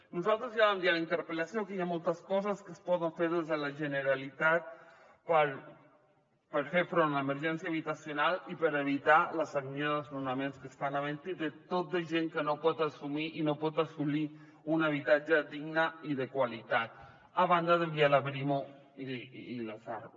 nosaltres ja vam dir a la interpel·lació que hi ha moltes coses que es poden fer des de la generalitat per fer front a l’emergència habitacional i per evitar la sagnia de desnonaments que estan havent hi de tot de gent que no pot assumir i no pot assolir un habitatge digne i de qualitat a banda d’enviar la brimo i les arro